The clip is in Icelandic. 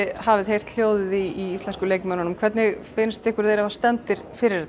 hafið heyrt hljóðið í leikmönnum hvernig finnst ykkur þeir vera stemmdir fyrir þetta